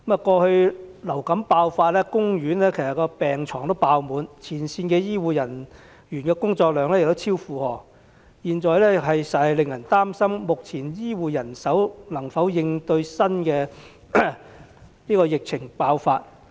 過去流感爆發期間，公營醫院的病床爆滿，前線醫護人員的工作量超出負荷，實在令人擔心目前醫護人手能否應對新的疫情爆發。